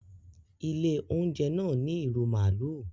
ilé oúnjẹ náa ní irú maalu.